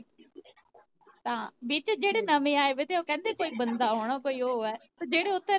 ਤਾਂ ਜਿਹੜੇ ਜੇੜੇ ਓਥੋਂ ਨਵੇਂ ਆਏ ਵੇ ਤੇ ਓ ਕੇਂਦੇ ਕੋਈ ਬੰਦਾ ਹੋਣਾ ਕੋਈ ਓ ਏ